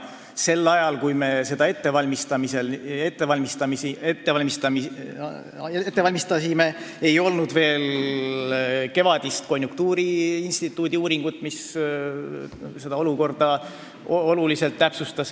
Sel ajal, kui me seda ette valmistasime, ei olnud veel tulnud kevadist konjunktuuriinstituudi uuringut, mis olukorda oluliselt täpsustas.